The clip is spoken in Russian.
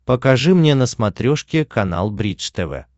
покажи мне на смотрешке канал бридж тв